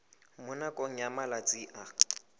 mo nakong ya malatsi a